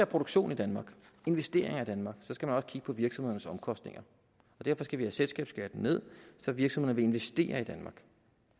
produktion i danmark investeringer i danmark skal man også kigge på virksomhedernes omkostninger og derfor skal vi have selskabsskatten ned så virksomhederne vil investere i danmark